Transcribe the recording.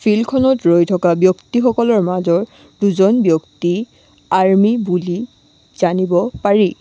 ফিল্ডখনত ৰৈ থকা ব্যক্তিসকলৰ মাজৰ দুজন ব্যক্তি আৰ্মী বুলি জানিব পাৰি।